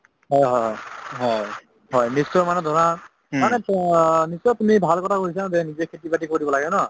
হয় হয় হয় হয় নিশ্চয় মানে ধৰা মানে নিশ্চয় তুমি ভাল কথা কৈছা যে নিজে খেতি-বাতি কৰিব লাগে ন